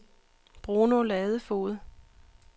Bruno Ladefoged